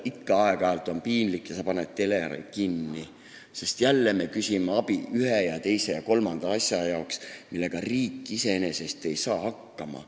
Aeg-ajalt on ikka piinlik ja sa paned teleri kinni, sest jälle küsitakse abi ühe, teise ja kolmanda asja jaoks, millega riik iseenesest hakkama ei saa.